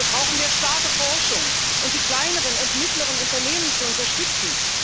Dafür brauchen wir starke Forschung, um die kleineren und mittleren Unternehmen zu unterstützen.